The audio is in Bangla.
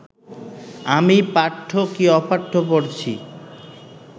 আমি পাঠ্য কি অপাঠ্য পড়ছি